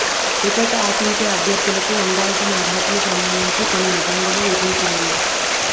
ticket ఆశించే అభ్యర్థులకు ఉండాల్సిన అర్హతలకు సంబంధించి కొన్ని నిబంధనలు విధించింది